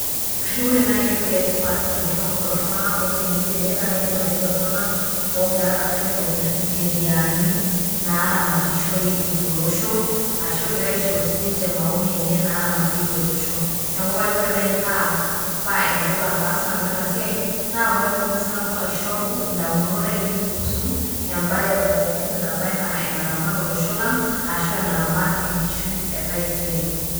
Kajo ore naai etoki etipat tenaingor kulo tunganak otoni tene. Naa kaidim atejo iltunganak ogira aitobir incheriani naramatishoreki tolosho, ashu egira aishoru sininche maoni enye naramatieki olosho. Neaku kajo ore naaji paa enetipat paas sinanu ena siai naa paatumoki sinanu aishoru damunot ainei kuhusu ebaye pookin naba enaa enaramat olosho lang ashu, enaramat enkishui e taisere.